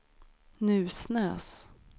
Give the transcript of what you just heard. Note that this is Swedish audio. Nusnäs